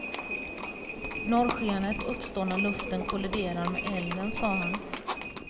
Norrskenet uppstår när luften kolliderar med elden, sa han.